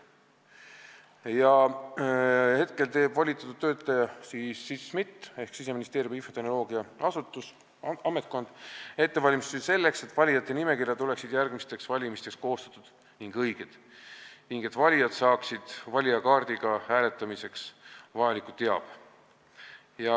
Praegu teeb volitatud töötleja SMIT ehk Siseministeeriumi infotehnoloogiaasutus ettevalmistusi selleks, et valijate nimekirjad oleksid järgmisteks valimisteks koostatud õigesti ning valijakaardiga saaksid valijad hääletamiseks vajaliku teabe.